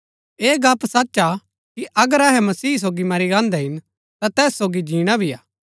ऐह गप्‍प सच हा कि अगर अहै मसीह सोगी मरी गान्दै हिन ता तैस सोगी जीणा भी हा